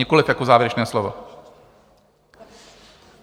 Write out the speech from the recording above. Nikoliv jako závěrečné slovo?